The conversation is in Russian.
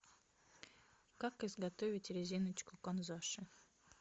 как изготовить резиночку канзаши